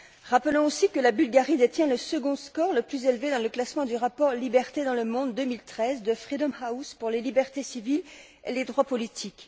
Rappelons aussi que ce pays détient le second score le plus élevé dans le classement du rapport Liberté dans le monde 2013 de Freedom House pour les libertés civiles et les droits politiques.